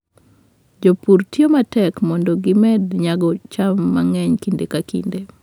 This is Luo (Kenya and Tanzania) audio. Jopur tiyo matek mondo gimed nyago cham mang'eny kinde ka kinde.